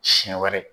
Siɲɛ wɛrɛ